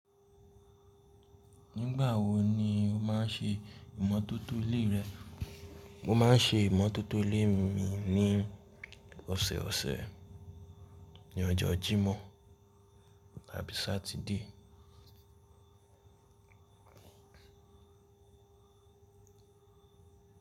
Nígbà wo ni o máa ń ṣe ìmótótó ilé rẹ? Mo maa n se imototo ile mi ni oseose ni ojo jimo abi satide.